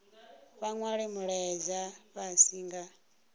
vha nwale mulaedza fhasi nga